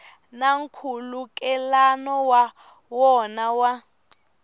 na nkhulukelano wa wona wa